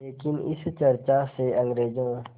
लेकिन इस चर्चा से अंग्रेज़ों